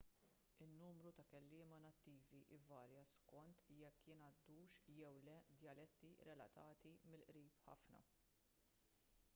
in-numru ta' kelliema nattivi ivarja skont jekk jingħaddux jew le djaletti relatati mill-qrib ħafna